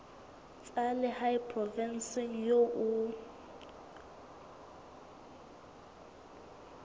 tsa lehae provinseng eo o